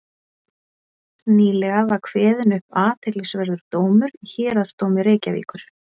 nýlega var kveðinn upp athyglisverður dómur í héraðsdómi reykjavíkur